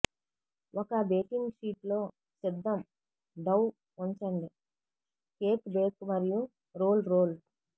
ఒక బేకింగ్ షీట్లో సిద్ధం డౌ ఉంచండి కేక్ బేక్ మరియు రోల్ రోల్